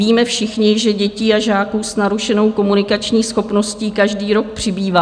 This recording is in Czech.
Víme všichni, že dětí a žáků s narušenou komunikační schopností každý rok přibývá.